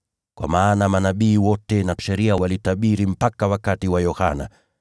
Kwa maana manabii wote na Sheria walitabiri mpaka wakati wa Yohana.